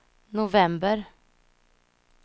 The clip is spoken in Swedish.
november